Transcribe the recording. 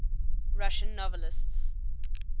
russian novelists